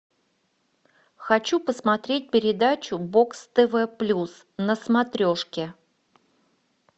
хочу посмотреть передачу бокс тв плюс на смотрешке